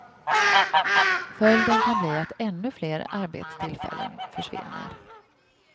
Följden kan bli att ännu fler arbetstillfällen försvinner.